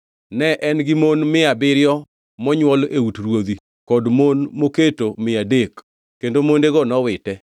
Ne en-gi mon mia abiriyo monywol e ut ruodhi kod mon moketo mia adek, kendo mondego nowite.